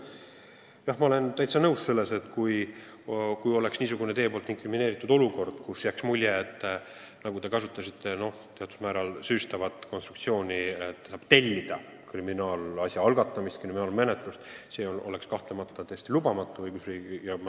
Jah, ma olen täiesti nõus, et kui oleks niisugune teie poolt inkrimineeritud olukord, kus jääks mulje, et saab tellida kriminaalasja algatamist, siis see oleks kahtlemata õigusriigis täiesti lubamatu.